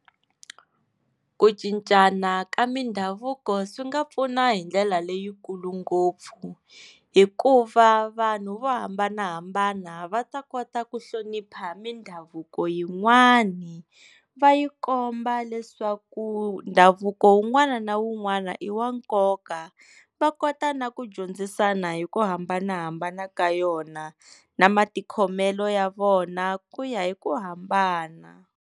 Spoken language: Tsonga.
Ku cincana ka mindhavuko swi nga pfuna hi ndlela leyikulu ngopfu hikuva vanhu vo hambanahambana va ta kota ku hlonipha mindhavuko yin'wani va yi komba leswaku ndhavuko wun'wana na wun'wana i wa nkoka va kota na ku dyondzisana hi ku hambanahambana ka yona na matikhomelo ya vona ku ya hi ku hambana.